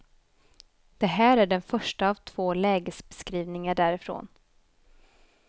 Det här är den första av två lägesbeskrivningar därifrån.